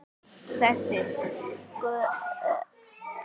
Þess söknum við nú.